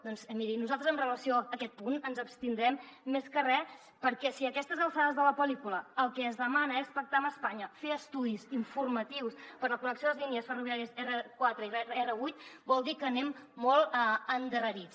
doncs miri nosaltres amb relació a aquest punt ens abstindrem més que re perquè si a aquestes alçades de la pel·lícula el que es demana és pactar amb espanya fer estudis informatius per a la connexió de les línies ferroviàries r4 i r8 vol dir que anem molt endarrerits